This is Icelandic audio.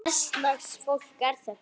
Hvers lags fólk er þetta?